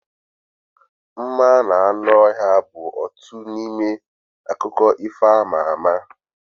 Mma na anụ ọhịa bụ otu n'ime akụkọ ifo ama ama